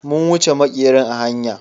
mun wuche makerin a hanya.